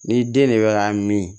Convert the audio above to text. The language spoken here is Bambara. Ni den de bɛ ka min